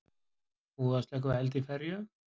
Búið að slökkva eld í ferju